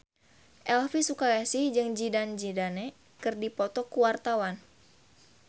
Elvy Sukaesih jeung Zidane Zidane keur dipoto ku wartawan